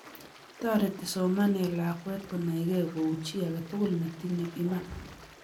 toreti somanee lakwe konaikei kou chii aketukul netinye iman